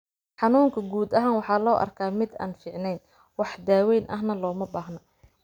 Xanuunka guud ahaan waxaa loo arkaa mid aan fiicneyn, wax daaweyn ahna looma baahna.